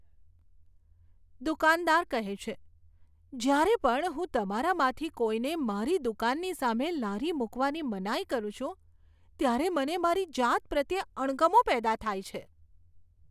દુકાનદાર કહે છે, જ્યારે પણ હું તમારામાંથી કોઈને મારી દુકાનની સામે લારી મૂકવાની મનાઈ કરું છું, ત્યારે મને મારી જાત પ્રત્યે અણગમો પેદા થાય છે.